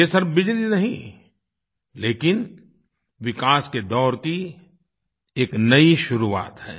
ये सिर्फ़ बिजली नहीं लेकिन विकास के दौर की एक नयी शुरुआत है